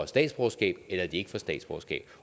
statsborgerskab eller de ikke får statsborgerskab